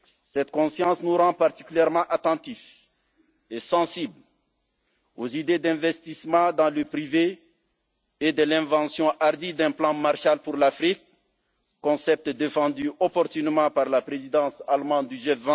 Cette conscience nous rend particulièrement attentifs et sensibles aux idées d'investissement dans le privé et à l'invention hardie d'un plan Marshall pour l'Afrique, concepts défendus opportunément par la présidence allemande